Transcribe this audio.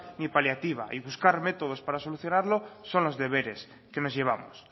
ni paliativa y buscar métodos para solucionarlo son los deberes que nos llevamos